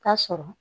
K'a sɔrɔ